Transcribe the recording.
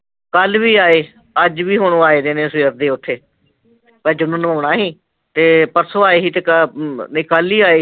ਕੱਲ ਵੀ ਆਏ, ਅੱਜ ਵੀ ਹੁਣ ਉਹ ਆਏ ਦੇ ਨੇ ਸਵੇਰ ਦੇ ਓਥੇ ਤੇ ਜਦੋਂ ਨੂੰ ਆਉਣਾ ਸੀ, ਤੇ ਪਰਸੋਂ ਆਏ ਸੀ ਨਹੀਂ ਕੱਲ ਈ ਆਏ ਸੀ